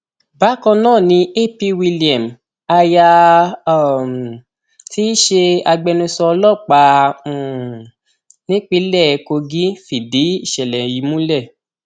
bákan náà ni ap william aya um tí í ṣe agbẹnusọ ọlọpàá um nípìnlẹ kogi fìdí ìṣẹlẹ yìí múlẹ